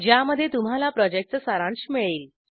ज्यामध्ये तुम्हाला प्रॉजेक्टचा सारांश मिळेल